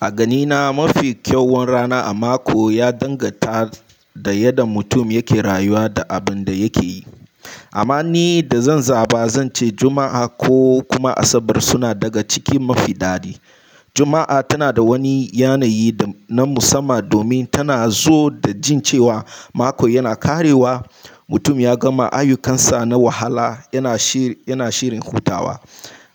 A ganina mafi kyawun rana a mako ya danganta da yadda mutum yake rayuwa da abun da yake yi. Amma ni da zan zaba zan ce Juma'a ko kuma Asabar suna daga cikin mafi dadi. Juma'a tana da wani yanayi na musamman domin tana zo da jin cewa mako yana ƙarewa. Mutum ya gama ayyukansa na wahala, yana shirin hutawa.